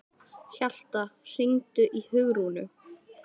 Hjalta, hringdu í Hugrúnu.